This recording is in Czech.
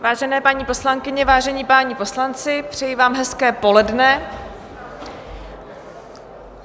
Vážené paní poslankyně, vážení páni poslanci, přeji vám hezké poledne.